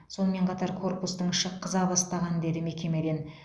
сонымен қатар корпустың іші қыза бастаған деді мекемеден